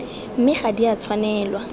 mme ga di a tshwanelwa